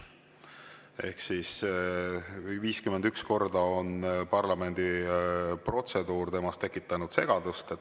Ehk siis 51 korda on parlamendi protseduur temas segadust tekitanud.